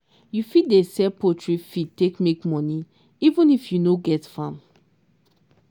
you fit start dey sell poultry feed take make money even if you no get farm.